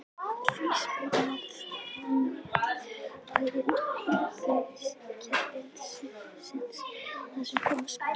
Því spyr maður: Er netvæðing heilbrigðiskerfisins það sem koma skal?